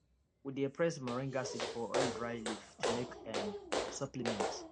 we dey press moringa seed for oil dry leaf to make um supplement